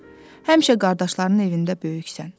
Həmişə qardaşlarının evində böyüksən.